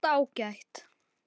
Allt ágætt.